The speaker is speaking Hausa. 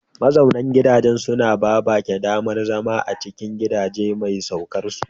Mazaunan gidaje suna ba baƙi damar zama a cikin gidajen mai saukarsu.